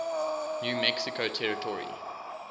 new mexico territory